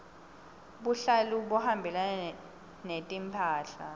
buhlalu buhambelana netimphahla